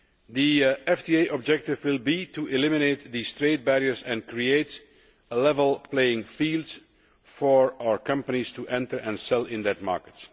The FTA objective will be to eliminate these trade barriers and create a level playing field for our companies to enter and sell in that market.